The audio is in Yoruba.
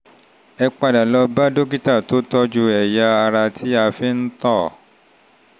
ẹ padà lọ bá dókítà tó tọ́jú ẹ̀yà ara tí a fi ń tọ̀